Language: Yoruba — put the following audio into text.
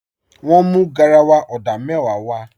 Wọ́n mú garawa odà mẹ́wàá w